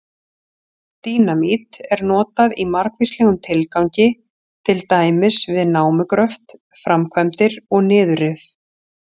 Dínamít er notað í margvíslegum tilgangi, til dæmis við námugröft, framkvæmdir og niðurrif.